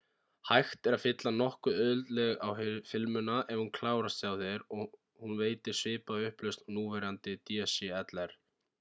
hægt er að fylla nokkuð auðveldlega á filmuna ef hún klárast hjá þér og hún veitir svipaða upplausn og núverandi dslr